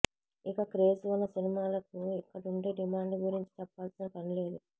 ఇక క్రేజ్ ఉన్న సినిమాలకు ఇక్కడుండే డిమాండ్ గురించి చెప్పాల్సిన పని లేదు